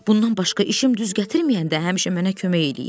Bundan başqa işim düz gətirməyəndə həmişə mənə kömək eləyib.